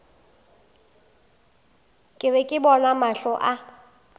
be ke bona mahlo a